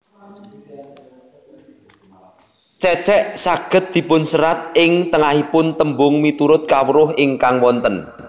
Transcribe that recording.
Cecek saged dipunserat ing tengahipung tembung miturut kawruh ingkang wonten